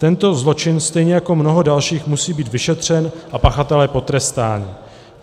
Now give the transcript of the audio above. Tento zločin stejně jako mnoho dalších musí být vyšetřen a pachatelé potrestáni;